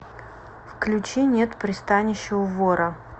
включи нет пристанища у вора